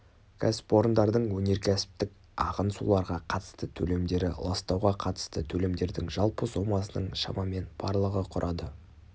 кәсіпорындардың өнеркәсіптік ағын суларға қатысты төлемдері ластауға қатысты төлемдердің жалпы сомасының шамамен барлығы құрады